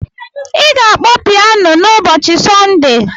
Ị ga-akpọ pianu n'ụbọchị Sọnde.